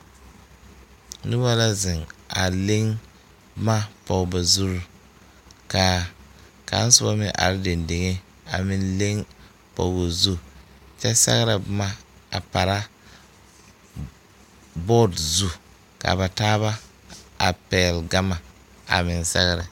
Nobɔ la zeŋ a leŋ boma pɔge ba zurre kaa kaŋ sobɔ meŋ are deŋ deŋe a meŋ leŋ pɔgoo zu kyɛ sɛgrɛ boma a para bɔɔde zu kaa ba taaba a pɛɛle gama a meŋ sɛgrɛ.